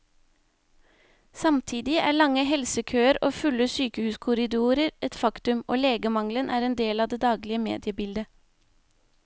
Samtidig er lange helsekøer og fulle sykehuskorridorer et faktum, og legemangelen er en del av det daglige mediebildet.